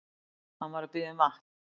Hann var að biðja um vatn.